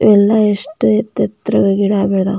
ಎಲ್ಲ ಎಷ್ಟು ಎತ್ರತ್ರ ಗಿಡ ಬೇಲ್ದಾವೆ --